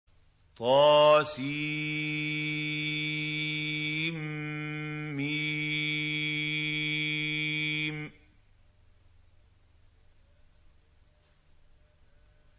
طسم